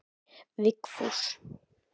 Vigfús